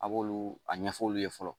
A b'olu a ɲɛfɔ olu ye fɔlɔ